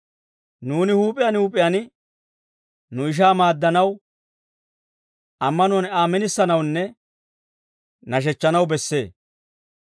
Nuuni huup'iyaan huup'iyaan nu ishaa maaddanaw, ammanuwaan Aa minisanawunne nashechchanaw bessee.